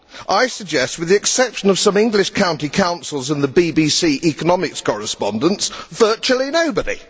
I suggest, with the exception of some English county councils and the BBC economics correspondents, virtually nobody.